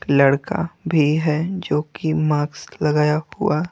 लड़का भी है जो कि माक्स लगाया हुआ--